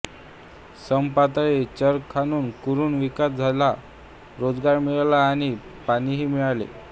समपातळी चर खणून कुरण विकास झाला रोजगार मिळाला आणि पाणीही मिळाले